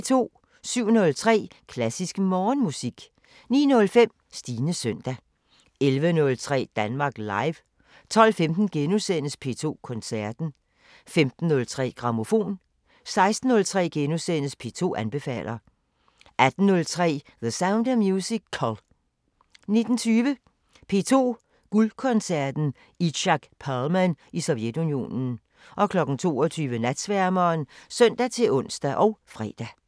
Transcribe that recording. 07:03: Klassisk Morgenmusik 09:05: Stines søndag 11:03: Danmark Live 12:15: P2 Koncerten * 15:03: Grammofon 16:03: P2 anbefaler * 18:03: The Sound of Musical 19:20: P2 Guldkoncerten: Itzhak Perlman i Sovjetunionen 22:00: Natsværmeren (søn-ons og fre)